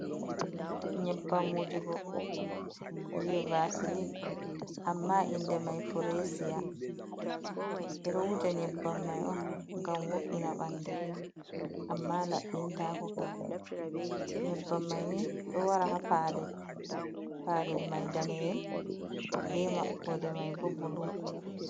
Nyebbam wujugo, je vasilin, amma inde mai firesiya, ɓeɗo wuja nyebbam mai on gam wo’’ina bandu, amma labbin tako kam. Nyebbam mai ni do wara ha palel mai daniyel be maɓɓode mai bo bulu